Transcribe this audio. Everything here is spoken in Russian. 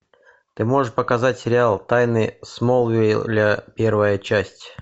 ты можешь показать сериал тайны смолвиля первая часть